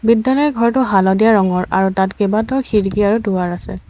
বিদ্যালয় ঘৰটো হালধীয়া ৰঙৰ আৰু তাত কেইবাটাও খিৰিকী আৰু দুৱাৰ আছে।